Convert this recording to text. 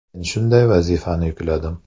Men shunday vazifani yukladim.